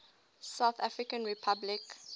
south african republic